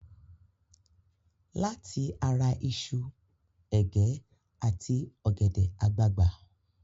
Láti ara iṣu, ẹ̀gẹ́ àti ọ̀gẹ̀dẹ̀ àgbagbà.